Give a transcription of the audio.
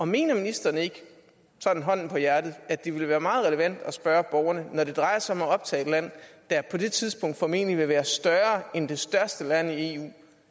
mener ministeren ikke sådan hånden på hjertet at det ville være meget relevant at spørge borgerne når det drejer sig om at optage et land der på det tidspunkt formentlig vil være større end det største land